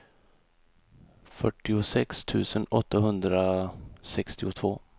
fyrtiosex tusen åttahundrasextiotvå